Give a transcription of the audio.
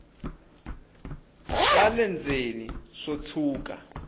swa le ndzeni swo tshuka